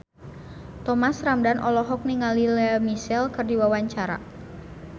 Thomas Ramdhan olohok ningali Lea Michele keur diwawancara